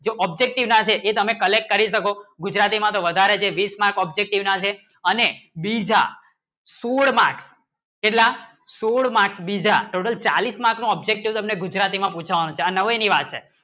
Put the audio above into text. આ objective ના છે તમે collect કરી શકો ગુજરાતી માં વધારે છે બીસ mark objective ના છે અને બીજા સૂળમાં કીતલા સૂળમાં બીજા total ચાલીસ માર્ક નું objective તમે ગુજરાતી માં પુછાવે તે નવી વાત છે